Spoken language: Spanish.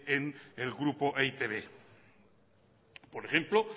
en el grupo e i te be por ejemplo